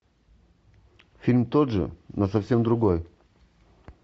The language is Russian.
фильм тот же но совсем другой